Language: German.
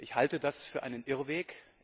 Ich halte das für einen Irrweg.